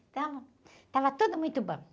Então, estava tudo muito bom.